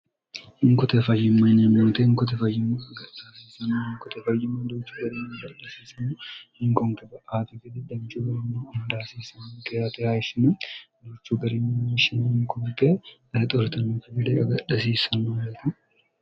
hinkote fayyimma yiniyamente hinkotefayyimmo agaxaasiisano hinkote fayyimo douchu ga'ri gaasiiseno hinkongeba afigete dancubainni indaasiisn gyeryishina duchu gariminyishin hinkubi0e exooritennofi bide gadhasiissenoete